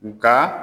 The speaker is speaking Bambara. Nka